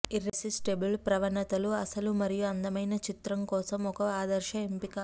irresistible ప్రవణతలు అసలు మరియు అందమైన చిత్రం కోసం ఒక ఆదర్శ ఎంపిక